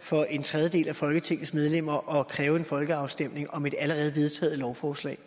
for en tredjedel af folketingets medlemmer at kræve en folkeafstemning om et allerede vedtaget lovforslag